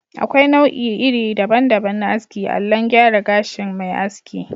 Akwai nau'i iri daban daban na aski allon gyara gashin mai aski